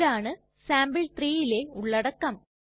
ഇതാണ് sample3ലെ ഉള്ളടക്കം